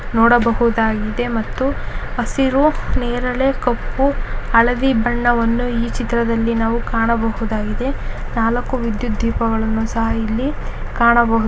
ನೋಡಬಹುದಾಗಿಯೇ ಮತ್ತು ಹಸಿರು ನೇರಳೆ ಕಪ್ಪು ಹಳದಿ ಬಣ್ಣವನ್ನು ನಾವು ಈ ಚಿತ್ರದಲ್ಲಿ ಕಾಣಬಹುದಾಗಿದೆ ನಾಲಕ್ಕು ವಿದ್ಯುತ್ ದೀಪಗಳನ್ನು ಸಹ ನಾವು ಇಲ್ಲಿ ಕಾಣಬಹುದು.